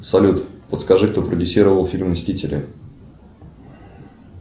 салют подскажи кто продюсировал фильм мстители